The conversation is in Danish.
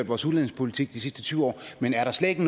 vores udlændingepolitik de sidste tyve år men er der slet ikke